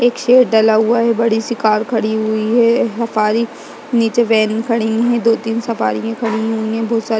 एक शेर डला हुआ है बड़ी सी कार खड़ी हुई है सफारी नीचे वैन खड़ी है दो-तीन सफरियाँ खड़ी हुई हैं --